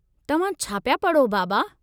तव्हां छा पिया पढ़ो, बाबा?